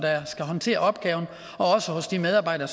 skal håndtere opgaven og også hos de medarbejdere